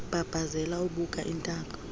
embambazela ebuka intaka